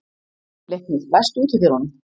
Leiknir, læstu útidyrunum.